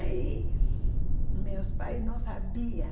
Aí meus pais não sabiam.